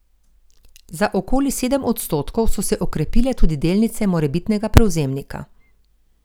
Za okoli sedem odstotkov so se okrepile tudi delnice morebitnega prevzemnika.